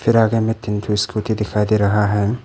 फ़िर आगे में तीन ठो स्कूटी दिखाई दे रहा है।